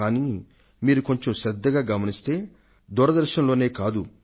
కానీ మీరు కొంచెం శ్రద్దగా గమనిస్తే దూరదర్శన్ లోనే కాదు